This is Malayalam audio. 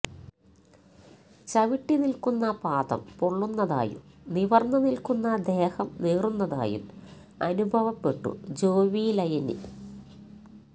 ചവിട്ടി നില്ക്കുന്ന പാദം പൊള്ളുന്നതായും നിവര്ന്നു നില്ക്കുന്ന ദേഹം നീറുന്നതായും അനുഭവപ്പെട്ടു ജോവിയലിന്